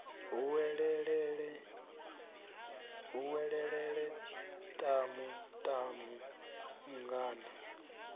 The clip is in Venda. hu welelele tamu tamu mungana